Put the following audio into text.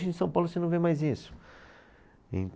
Hoje em São Paulo você não vê mais isso.